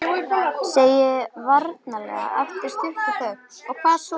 Segi varlega eftir stutta þögn: Og hvað svo?